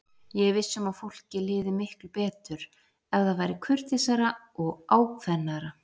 Ég er viss um að fólki liði miklu betur ef það væri kurteisara og ákveðnara.